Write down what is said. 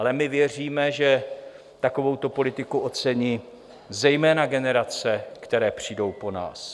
Ale my věříme, že takovouto politiku ocení zejména generace, které přijdou po nás.